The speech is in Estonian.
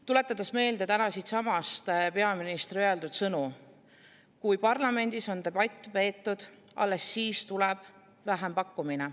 Tuletan meelde täna siitsamast peaministri öeldud sõnu: " kui parlamendis on debatt peetud, alles siis tuleb vähempakkumine.